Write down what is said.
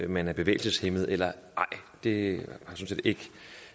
man er bevægelseshæmmet eller ej det